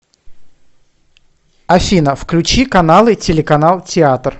афина включи каналы телеканал театр